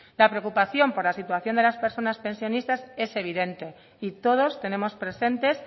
la preocupación por la situación de las personas pensionistas es evidente y todos tenemos presentes